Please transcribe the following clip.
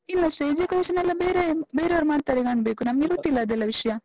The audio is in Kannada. ಇಲ್ಲ stage decoration ಎಲ್ಲ ಬೇರೆ ಬೇರೆಯವ್ರು ಮಾಡ್ತಾರೆ ಕಾಣ್ಬೇಕು. ನಮ್ಗೆ ಗೊತ್ತಿಲ್ಲ ಅದೆಲ್ಲ ವಿಷ್ಯ?